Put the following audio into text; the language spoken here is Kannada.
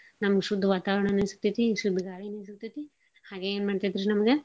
ನಮ್ಗ್ ಶುದ್ ವಾತಾವರ್ಣಾನೂ ಸಿಗ್ತೇತಿ, ಶುದ್ ಗಾಳೀನೂ ಸಿಗ್ತೇತಿ, ಹಾಗೇ ಏನ್ ಮಾಡ್ತೇತ್ರಿ ನಮ್ಗ.